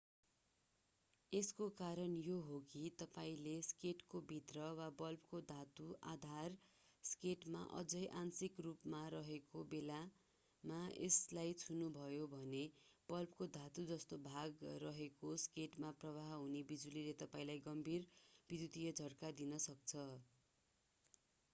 यसको कारण यो हो कि तपाईंले सकेटको भित्र वा बल्बको धातु आधार सकेटमा अझै आंशिक रूपमा रहेको बेलामा यसलाई छुनुभयो भने बल्बको धातु जस्तो भाग रहेको सकेटमा प्रवाह हुने बिजुलीले तपाईंलाई गम्भीर विद्युतीय झट्का दिन सक्छ